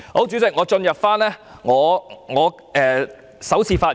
主席，我現進入我的首次發言。